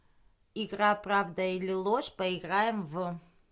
игра правда или ложь поиграем в